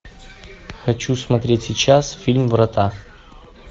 хочу смотреть сейчас фильм врата